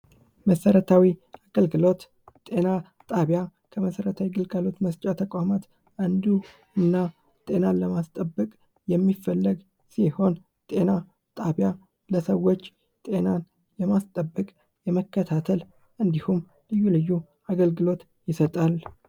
መሰረታዊ አገልግሎት ጤና ጣቢያ ከመሰረታዊ ግልጋሎት መስጫ ተቋማት አንዱና ጤናን ለማስጠበቅ የሚፈለግ ሲሆን ጤና ጣቢያ ለሰዎች ጤናን ለማስጠበቅ የመከታተል እንዲሁም ልዩ ልዩ አገልግሎት ይሰጣል።